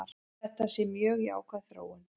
Þetta sé mjög jákvæð þróun.